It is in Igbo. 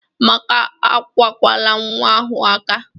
Amaka akwakwala nwa ahụ aka!